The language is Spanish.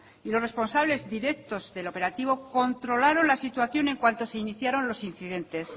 y los responsables directos del operativo controlaron la situación en cuanto se iniciaron los incidentes